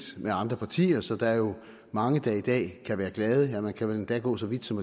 med andre partier så der er jo mange der i dag kan være glade ja man kan vel endda gå så vidt som